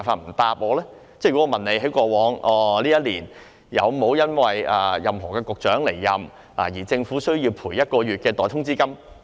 例如我問政府過去一年，有沒有因為任何局長離任而需要賠償一個月代通知金？